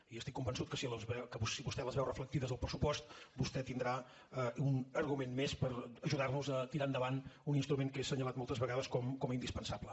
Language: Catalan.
i estic convençut que si vostè les veu reflectides al pressupost vostè tindrà un argument més per ajudar nos a tirar endavant un instrument que he assenyalat moltes vegades com a indispensable